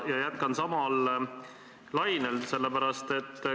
Ma jätkan samal lainel.